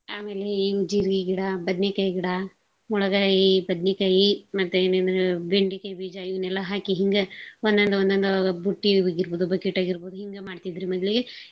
ಆಮೇಲೆ ಈ ಜೀರ್ಗಿ ಗಿಡ ಬದ್ನಿಕಾಯ್ ಗಿಡ ಮುಳಗಾಯೀ ಬದ್ನಿಕಾಯಿ ಮತ್ತೆ ಇನ್ನೇನು ಬೆಂಡೇಕಾಯ್ ಬೀಜ ಇವನ್ನೆಲ್ಲಾ ಹಾಕಿ ಹಿಂಗ ಒಂದೊಂದ ಒಂದೊಂದ ಅವಾಗವಾಗ್ ಬುಟ್ಟಿಯಗಾಗಿರ್ಬೋದು bucket ಆಗಿರ್ಬೋದು ಹಿಂಗ ಮಾಡ್ತಿದ್ರೀ ಮೊದ್ಲೀಗೆ.